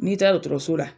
N'i taara dɔgɔtɔrɔso la